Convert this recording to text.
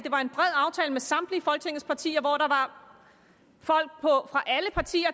med samtlige folketingets partier folk fra alle partier